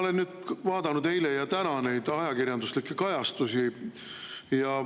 No ma olen vaadanud eile ja täna neid ajakirjanduslikke kajastusi.